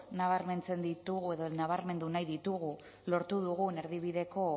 nabarmentzen ditugu edo nabarmendu nahi ditugu lortu dugun erdibideko